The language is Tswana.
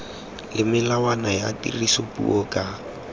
le melawana ya tirisopuo ka